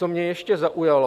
Co mě ještě zaujalo.